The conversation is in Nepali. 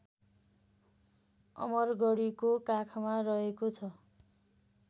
अमरगढीको काखमा रहेको छ